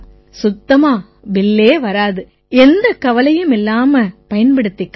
சுத்தமா பில்லே வராது எந்தக் கவலையும் இல்லாம பயன்படுத்திக்கலாம்